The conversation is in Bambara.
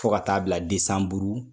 Fo ka taa bila desanburu